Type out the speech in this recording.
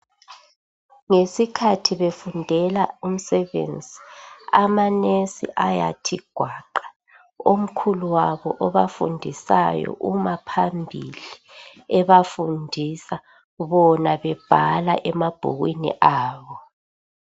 Ngesikhathi befundela umsebenzi, amanesi ayathi gwaqa. Omkhulu wabo obafundisayo uma phambili ebafundisa, bona bebhala emabhukwini abo.